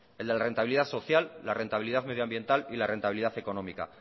el de rentabilidad social la rentabilidad medio ambiental y la rentabilidad económica